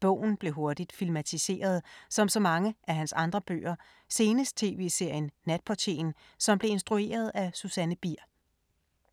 Bogen blev hurtigt filmatiseret som så mange af hans andre bøger, senest tv-serien Natportieren, som blev instrueret af Susanne Bier.